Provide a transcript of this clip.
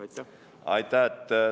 Aitäh!